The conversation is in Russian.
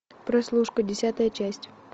прослушка десятая часть